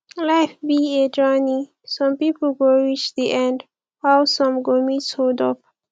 life be a journey some people go reach the end while some go meet hold up